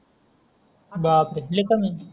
बापरे लय कमी आहे